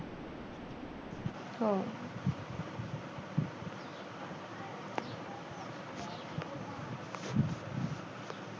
अह